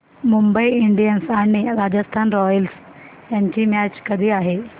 Mumbai Indians आणि Rajasthan Royals यांची match कधी आहे